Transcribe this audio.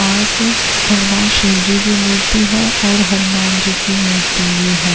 पास अ भगवान शिव जी की मूर्ति है और हनुमान जी की मूर्ति भी है।